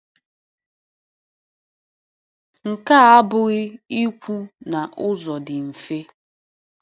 Nke a abụghị ikwu na ụzọ dị mfe.